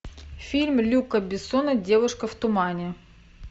фильм люка бессона девушка в тумане